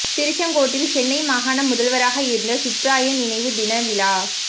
திருச்செங்கோட்டில் சென்னை மாகாண முதல்வராக இருந்த சுப்ராயன் நினைவு தின விழா